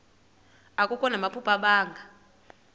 akho namaphupha abanga